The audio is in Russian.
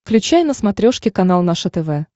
включай на смотрешке канал наше тв